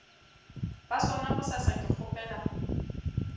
ba sona bosasa ke kgopela